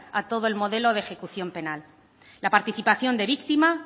a todo el modelo de ejecución penal la participación de víctima